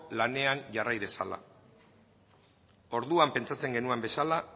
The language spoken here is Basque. lanean jarrai dezala orduan pentsatzen genuen bezala